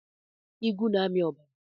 Igwu na-ami ọbara.